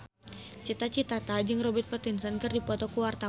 Cita Citata jeung Robert Pattinson keur dipoto ku wartawan